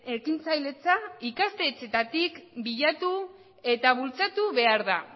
ekintzailetza ikastetxeetatik bilatu eta bultzatu behar da